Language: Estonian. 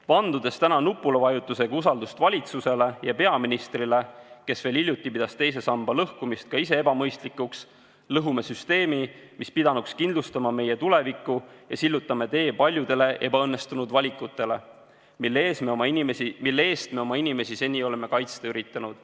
Vandudes täna nupuvajutusega usaldust valitsusele ja peaministrile, kes veel hiljuti pidas teise samba lõhkumist ka ise ebamõistlikuks, lõhume süsteemi, mis pidanuks kindlustama meie tuleviku, ja sillutame tee paljudele ebaõnnestunud valikutele, mille eest me oma inimesi seni oleme kaitsta üritanud.